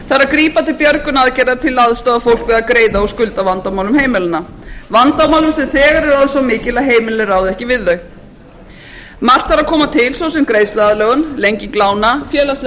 grípa til björgunaraðgerða til að aðstoða fólk við að greiða úr skuldavandamálum heimilanna vandamálum sem þegar eru orðin svo mikil að heimilin ráða ekki við þau margt þarf að koma til svo sem greiðsluaðlögun lenging lána félagsleg